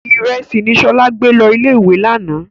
Ìrẹsì ni Ṣọlá gbé lọ ilé-ìwé lánàá.